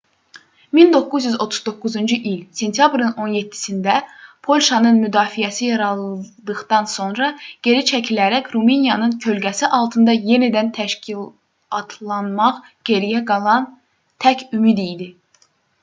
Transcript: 1939-cu il sentyabrın 17-sində polşanın müdafiəsi yarıldıqdan sonra geri çəkilərək rumıniyanın kölgəsi altında yenidən təşkilatlanmaq geriyə qalan tək ümid idi